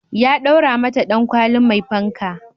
Ya daura mata dankwali mai fanka